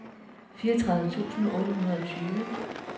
fireogtredive tusind otte hundrede og tyve